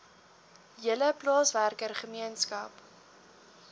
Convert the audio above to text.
hele plaaswerker gemeenskap